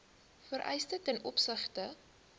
vereistes ten opsigte